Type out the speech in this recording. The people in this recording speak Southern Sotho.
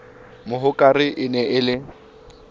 mohokare e ne e le